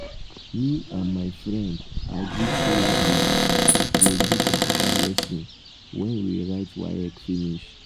me and my friend agree sey we um go do computer lesson wen we write um waec finish. um